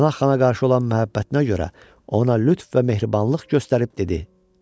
Pənah xana qarşı olan məhəbbətinə görə ona lütf və mehribanlıq göstərib dedi: